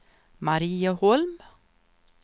Marieholm